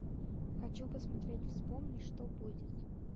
хочу посмотреть вспомни что будет